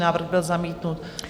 Návrh byl zamítnut.